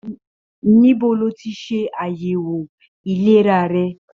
Níbo ló tí ṣe àyẹwò ìlera rẹ?